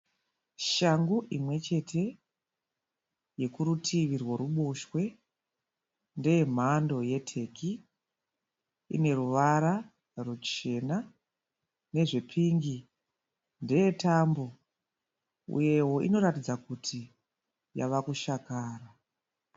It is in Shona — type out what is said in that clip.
Shangu imwe chete yekurutivi rwekuruboshwe. Ndeye mhando yeteki. Ine ruvara ruchena nezvepingi. Ndeye tambo uyewo inoratidza kuti yave kushakara.